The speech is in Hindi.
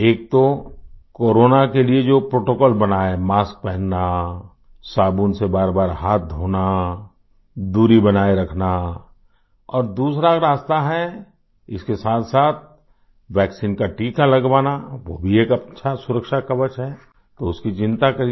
एक तो कोरोना के लिए जो प्रोटोकॉल बनाया मास्क पहनना साबुन से बारबार हाथ धोना दूरी बनाए रखना और दूसरा रास्ता है इसके साथसाथ वैक्सीन का टीका लगवाना वो भी एक अच्छा सुरक्षा कवच है तो उसकी चिंता करिए